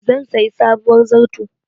Zan sayi sabuwar zarto.